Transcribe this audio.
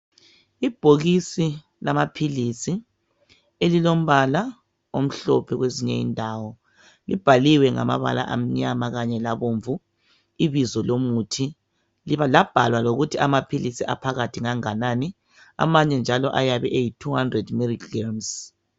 Ibhokisi lamaphilisi elilombala omhlophe kwezinye indawo. Libhaliwe ngamabala amnyama kanye labomvu ibizo lomuthi labhalwa lokuthi amaphilisi aphakathi nganganani. Amanye njalo ayabe eyi"200 milligrams "